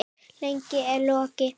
Lífið er logi.